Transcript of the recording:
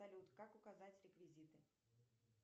салют как указать реквизиты